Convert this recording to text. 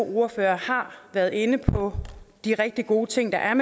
ordførere har været inde på de rigtig gode ting der er